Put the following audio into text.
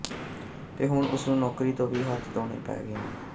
ਤੇ ਹੁਣ ਉਸਨੂੰ ਨੌਕਰੀ ਤੋਂ ਵੀ ਹੱਥ ਧੋਣੇ ਪੈ ਗਏ ਨੇ